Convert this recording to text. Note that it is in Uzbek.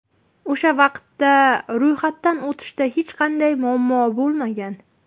O‘sha vaqtda ro‘yxatdan o‘tishda hech qanday muammo bo‘lmagan.